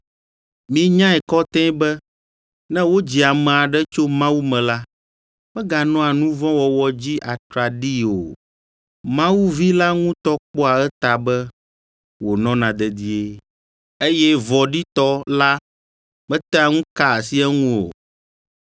Minyae kɔtɛe be ne wodzi ame aɖe tso Mawu me la, meganɔa nu vɔ̃ wɔwɔ dzi atraɖii o; Mawu Vi la ŋutɔ kpɔa eta be wònɔna dedie, eye Vɔ̃ɖitɔ la metea ŋu kaa asi eŋu o.